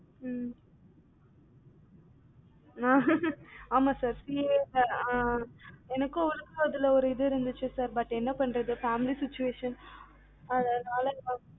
ஹம் ஆமா sir அஹ் அஹ் எனக்கும் அதுல ஒரு இது இருந்துச்சு but என்ன பண்றது. அதனால நா